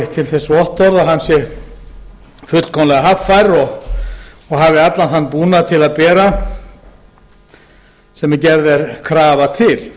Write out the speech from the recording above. til þess vottorð að hann sé fullkomlega haffær og hafi allan þann búnað til að bera sem gerð er krafa til